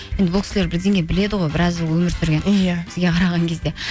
енді бұл кісілер бірдеңе біледі ғой біраз жыл өмір сүрген иә бізге қараған кезде